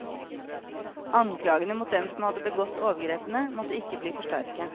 Anklagene mot dem som hadde begått overgrepene, måtte ikke bli for sterke.